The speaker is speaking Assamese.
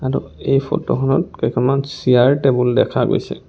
আৰু এই ফটো খনত কেইখনমান চিয়াৰ টেবুল দেখা গৈছে.